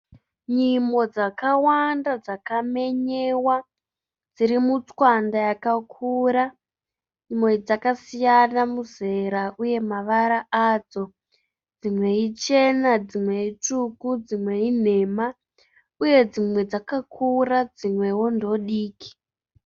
Nyimo dzakawanda dzakamenyewa dziri mutswanda yakakura. Dzakasiyana muzera uye mavara adzo. Dzimwe ichena dzimwe itsvuku dzimwe inhema uye dzimwe dzakakura dzimwewo ndodiki.